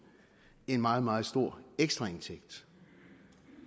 en meget meget stor ekstraindtægt